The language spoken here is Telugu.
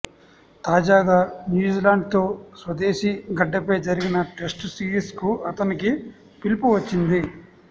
తాజాగా న్యూజిలాండ్తో స్వదేశీ గడ్డపై జరిగిన టెస్ట్ సిరీస్కు అతనికి పిలుపు వచ్చిది